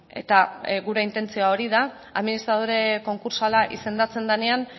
eta gure intentzioa hori da administradore konkurtsala izendatzen denean